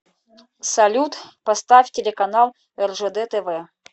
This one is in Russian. салют поставь телеканал ржд тв